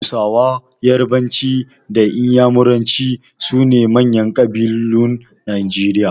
Hausa, yarbanci da iyamuranci su ne manyan ƙabilun Najeriya